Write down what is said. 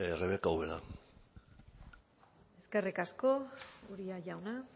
rebeka ubera eskerrik asko uria jauna